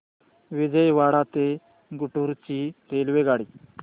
विजयवाडा ते गुंटूर ची रेल्वेगाडी